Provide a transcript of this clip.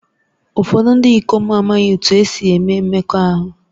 Ụfọdụ ndị ikom amaghị otú e si eme mmekọahụ